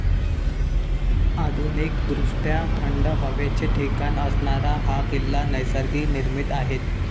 आधुनिकदृष्ट्या थंड हवेचे ठिकाण असणारा हा किल्ला निसर्गनिर्मित आहे.